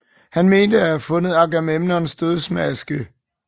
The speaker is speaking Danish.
Han mente at have fundet Agamemnons dødsmaske